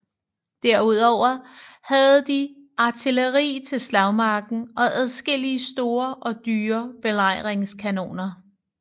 Derudover havde de artilleri til slagmarken og adskillige store og dyre belejringskanoner